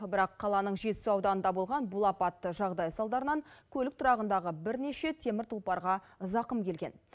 бірақ қаланың жетісу ауданында болған бұл апатты жағдай салдарынан көлік тұрағындағы бірнеше темір тұлпарға зақым келген